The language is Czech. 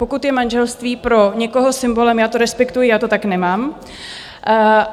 Pokud je manželství pro někoho symbolem, já to respektuji, já to tak nemám.